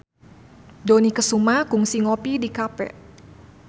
Dony Kesuma kungsi ngopi di cafe